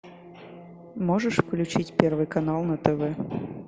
можешь включить первый канал на тв